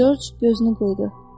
Corc gözünü qıydu.